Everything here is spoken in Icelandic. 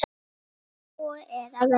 Úr nógu er að velja!